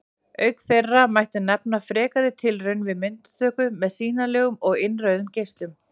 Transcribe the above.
Auk þeirra mætti nefna frekari tilraunir við myndatöku með sýnilegum og innrauðum geislum.